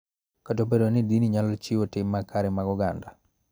Kata obedo ni dini nyalo jiwo tim makare mag oganda.